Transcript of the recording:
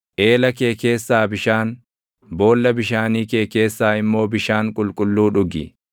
Eela kee keessaa bishaan, boolla bishaanii kee keessaa immoo bishaan qulqulluu dhugi.